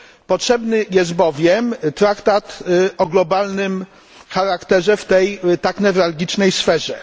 Potrzebny jest bowiem traktat o globalnym charakterze w tej tak newralgicznej sferze.